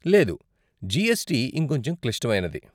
లేదు, జీఎస్టీ ఇంకొంచెం క్లిష్టమైనది.